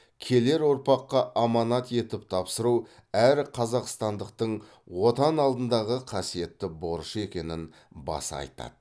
келер ұрпаққа аманат етіп тапсыру әр қазақстандықтың отан алдындағы қасиетті борышы екенін баса айтады